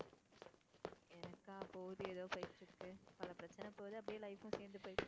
எனக்கா போது ஏதோ போயிட்டிருக்கு. பல பிரச்சனை போது அப்படியே life உம் சேர்ந்து போயிட்டிருக்கு.